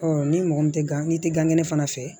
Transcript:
ni mɔgɔ min tɛ gan n'i tɛ gan kɛnɛ fana fɛ